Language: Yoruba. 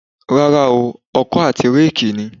Rárá ooo, ọkọ àti réèkì ni